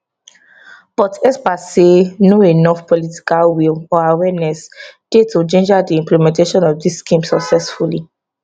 but experts say no enof political will or awareness dey to ginger di implementation of dis scheme successfully